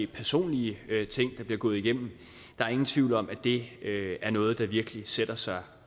personlige ting der bliver gået igennem der er ingen tvivl om at det er noget der virkelig sætter sig